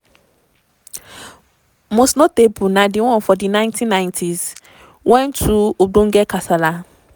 most notable na di one for di 1990s wen two ogbonge kasala